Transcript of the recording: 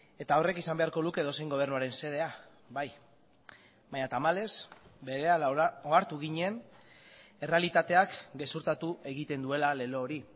eta horrek izan beharko luke edozein gobernuaren xedea bai baina tamalez berehala ohartu ginen errealitateak gezurtatu egiten duela lelo hori